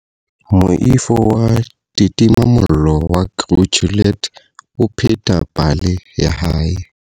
Moifo wa ditimamollo wa Crew Juliet o pheta pale ya hae.